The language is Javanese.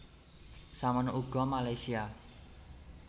Samono uga Malaysia